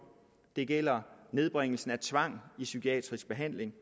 det gælder nedbringelsen af tvang i psykiatrisk behandling